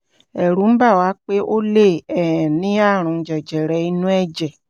ẹ̀rù ń bà wá pé ó lè um ní ààrùn jẹjẹrẹ inú ẹ̀jẹ̀